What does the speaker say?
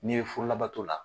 N'i ye furu labato la.